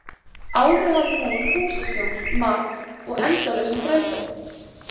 Áður hafði hún húsaskjól, mat og endalausan þrældóm.